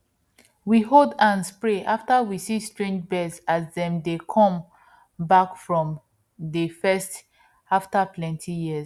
we hold hands pray after we see strange birds as dem dey come back for dey first after plenty years